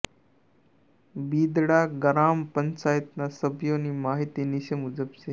બિદડા ગ્રામ પંચાયતના સભ્યોની માહિતી નીચે મુજબ છે